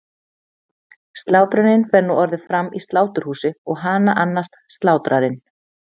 Slátrunin fer nú orðið fram í sláturhúsi og hana annast slátrarinn.